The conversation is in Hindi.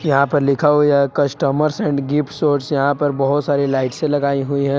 यहां पर लिखा हुआ है कस्टमर एंड गिफ्ट स्टोर और यहां पर बहुत सारी लाइट लगाई हुई हैं।